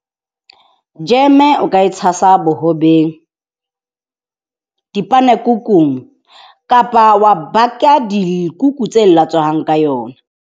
Jeme o ka e tshasa bohobeng dipana-kukung kapa wa baka dikuku tse latswehang ka yona.